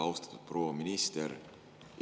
Austatud proua minister!